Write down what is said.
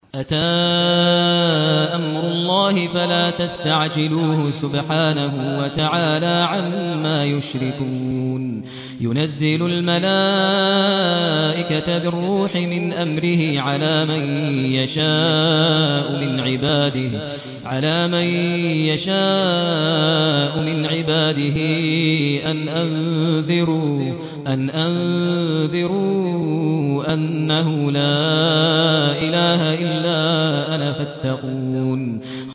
أَتَىٰ أَمْرُ اللَّهِ فَلَا تَسْتَعْجِلُوهُ ۚ سُبْحَانَهُ وَتَعَالَىٰ عَمَّا يُشْرِكُونَ